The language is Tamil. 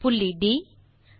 புள்ளி ட்